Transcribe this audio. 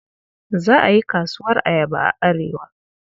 Za a yi kasuwar ayaba a Arewa.